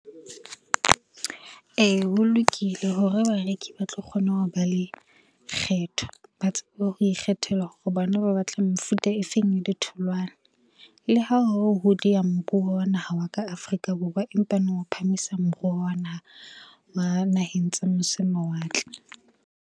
Ee, ho lokile hore bareki ba tlo kgona ho ba le kgetho, ba tsebe ho ikgethela hore bona ba batla mefuta e feng ya ditholwana. Le ha ho ho diya moruo wa naha wa ka Afrika Borwa, empaneng o phahamisa moruo wa naha wa naheng tse mose mawatle.